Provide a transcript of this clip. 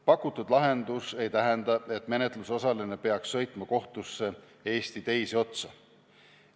Pakutud lahendus ei tähenda, et menetlusosaline peaks sõitma kohtusse Eesti teise otsa.